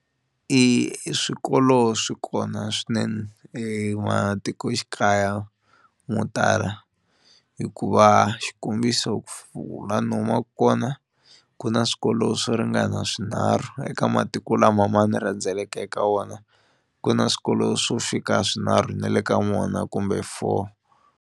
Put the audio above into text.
I swikolo swi kona swinene ematikoxikaya mo tala hikuva xikombiso ku laha ni humaka kona ku na swikolo swo ringana swinharhu eka matiko lama ma ni rhandzeleka eka wona ku na swikolo swo fika swinharhu na le ka kumbe four.